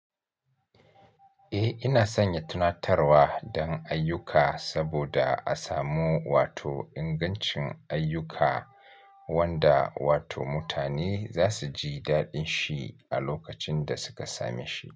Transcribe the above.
Eh, ina sanya tunatarwa don ayyuka saboda a samu wato ingancin ayyuka wanda wato mutane za su ji daɗin shi a lokacin da suka same shi.